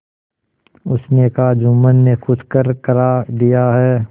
उसने कहाजुम्मन ने कुछ करकरा दिया है